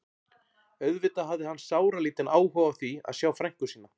Auðvitað hafði hann sáralítinn áhuga á því að sjá frænku sína.